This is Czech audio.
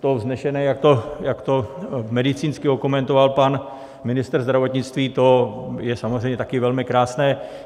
To vznešené, jak to medicínsky okomentoval pan ministr zdravotnictví, to je samozřejmě také velmi krásné.